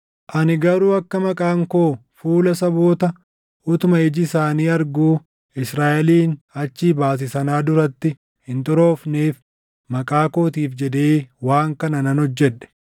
Ani garuu akka maqaan koo fuula saboota utuma iji isaanii arguu Israaʼelin achii baase sanaa duratti hin xuroofneef maqaa kootiif jedhee waan kana nan hojjedhe.